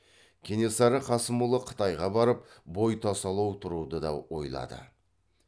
кенесары қасымұлы қытайға барып бой тасалау тұруды да ойлады